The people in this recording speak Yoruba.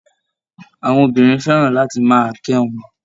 Àwọn obìnrin fẹ́ràn láti máa kẹ́ wọn